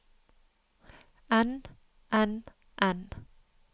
enn enn enn